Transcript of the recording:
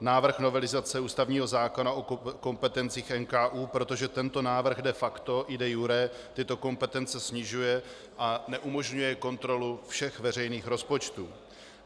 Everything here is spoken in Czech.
návrh novelizace ústavního zákona o kompetencích NKÚ, protože tento návrh de facto i de iure tyto kompetence snižuje a neumožňuje kontrolu všech veřejných rozpočtů.